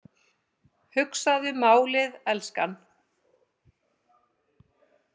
Hugsaðu málið, elskan.